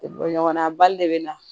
Bɔ ɲɔgɔnna bali de bɛ na